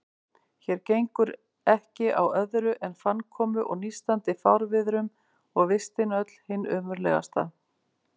Hér gengur ekki á öðru en fannkomu og nístandi fárviðrum, og vistin öll hin ömurlegasta.